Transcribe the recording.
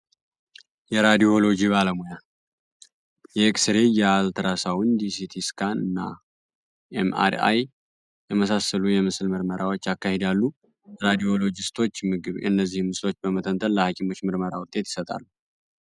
የራዲዮሎጂ ባለሙያ የኤክስሬይ ፣የአልትራሳውንድ ፣ሲቲ ስካን ፣መአራይ የመሳሰሉ የምስል ምርመራዎች ያከናውናሉ። ራዲዮሎጂስቶች እነዚህ ምስል በመመርመር ውጤት ይሰጣሉ።